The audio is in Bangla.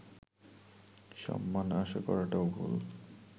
সম্মান আশা করাটাও ভুল